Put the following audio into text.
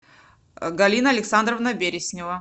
галина александровна береснева